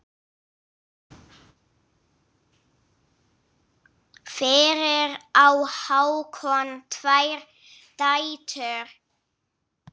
Fyrir á Hákon tvær dætur.